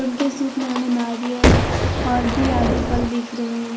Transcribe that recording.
उनके सुप में हमें नारियल और भी आदि फल दिख रहे हैं।